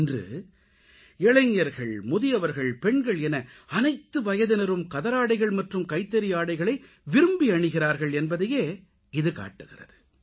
இன்று இளைஞர்கள் முதியவர்கள் பெண்கள் என அனைத்து வயதினரும் கதராடைகள் மற்றும் கைத்தறி ஆடைகளை விரும்பி அணிகிறார்கள் என்பதையே இது காட்டுகிறது